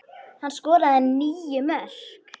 Hann skoraði níu mörk.